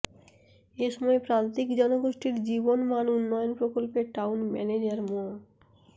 এ সময় প্রান্তিক জনগোষ্ঠীর জীবনমান উন্নয়ন প্রকল্পের টাউন ম্যানেজার মো